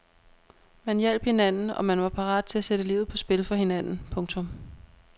Man hjalp hinanden og man var parat til at sætte livet på spil for hinanden. punktum